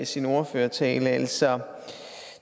sin ordførertale altså